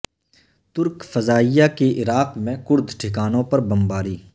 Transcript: ترک فضائیہ کی عراق میں کرد ٹھکانوں پر بمباری